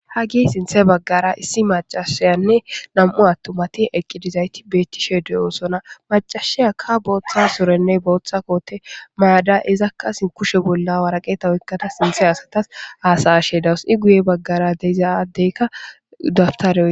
hage sinthe baggara issi macashayanne nam7u attumati eqqidizayti beettishe deyoosona macashiya ka booththa sorenne booththa koote mayada izakka sin kushe bolla waraqeeta weykkata sinthe asatas haasayashe dawus i guye baggara deiza adeykka daftare